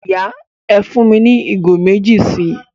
Ìyà, ẹ́ fún mi ni igo mẹ̀jì sí